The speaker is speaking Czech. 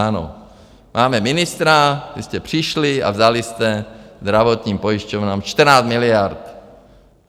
Ano, máme ministra, vy jste přišli a vzali jste zdravotním pojišťovnám 14 miliard.